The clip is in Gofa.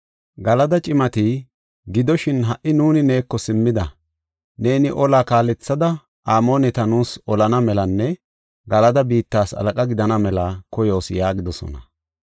Galada cimati, “Gidoshin ha77i nuuni neeko simmida; neeni ola kaalethada Amooneta nuus olana melanne Galada biittas halaqa gidana mela koyoos” yaagidosona.